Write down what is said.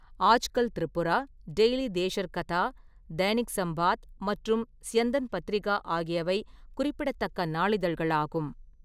Aajkal Tripura, Daily Desher Katha, Dainik Sambad மற்றும் ஸ்யந்தன் பத்திரிகா ஆகியவை குறிப்பிடத்தக்க நாளிதழ்களாகும்.